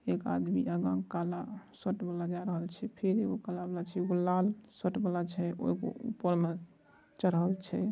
एक आदमी यहाँ काल शर्ट वाला जा रहल छे | फिर एगो काला वाला छे | एगो लाल शर्ट वाला छे और एगो ऊपर मे चढ़ल छे ।